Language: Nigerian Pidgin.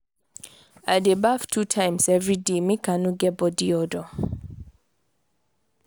i dey baff two times everyday make i no no get bodi odour.